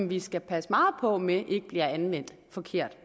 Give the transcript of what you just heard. vi skal passe meget på med ikke bliver anvendt forkert